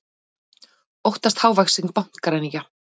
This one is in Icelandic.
Óttast hávaxinn bankaræningja